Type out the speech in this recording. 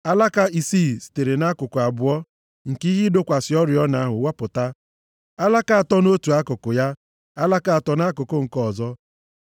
Alaka isii sitere nʼakụkụ abụọ nke ihe ịdọkwasị oriọna ahụ wapụta, alaka atọ nʼotu akụkụ ya, alaka atọ nʼakụkụ nke ọzọ.